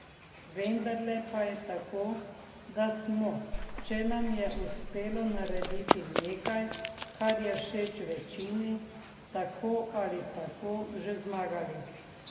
Vendarle pa je tako, da smo, če nam je uspelo narediti nekaj, kar je všeč večini, tako ali tako že zmagali.